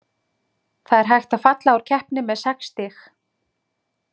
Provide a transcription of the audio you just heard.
Það er hægt að falla úr keppni með sex stig.